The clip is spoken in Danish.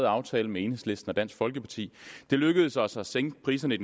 aftale med enhedslisten og dansk folkeparti det lykkedes os at sænke priserne i